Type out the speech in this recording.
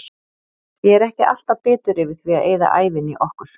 Ég er ekki alltaf bitur yfir því að eyða ævinni í okkur.